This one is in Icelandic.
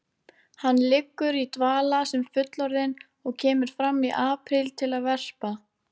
Hann liggur í dvala sem fullorðinn og kemur fram í apríl til að verpa.